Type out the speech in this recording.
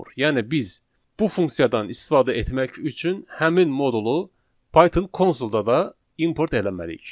Yəni biz bu funksiyadan istifadə etmək üçün həmin modulu Python konsolda da import eləməliyik.